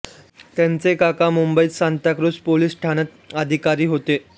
त्यांचे काका मुंबईत सांताक्रुझ पोलीस ठाण्यात अधिकारी होते